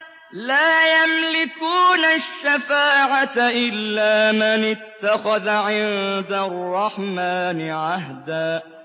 لَّا يَمْلِكُونَ الشَّفَاعَةَ إِلَّا مَنِ اتَّخَذَ عِندَ الرَّحْمَٰنِ عَهْدًا